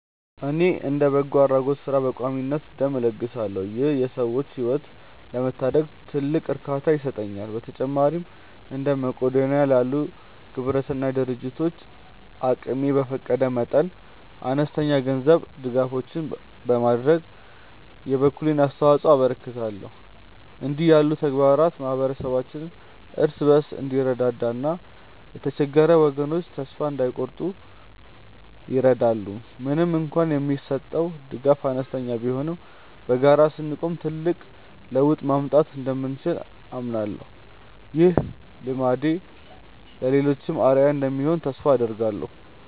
እኔ እንደ በጎ አድራጎት ሥራ በቋሚነት ደም እለግሳለሁ ይህም የሰዎችን ሕይወት ለመታደግ ትልቅ እርካታ ይሰጠኛል። በተጨማሪም እንደ መቅዶንያ ላሉ ግብረሰናይ ድርጅቶች አቅሜ በፈቀደ መጠን አነስተኛ የገንዘብ ድጋፎችን በማድረግ የበኩሌን አስተዋጽኦ አበረክታለሁ። እንዲህ ያሉ ተግባራት ማኅበረሰባችን እርስ በርሱ እንዲረዳዳና የተቸገሩ ወገኖች ተስፋ እንዳይቆርጡ ይረዳሉ። ምንም እንኳን የምሰጠው ድጋፍ አነስተኛ ቢሆንም በጋራ ስንቆም ትልቅ ለውጥ ማምጣት እንደምንችል አምናለሁ። ይህ ልማዴ ለሌሎችም አርአያ እንደሚሆን ተስፋ አደርጋለሁ።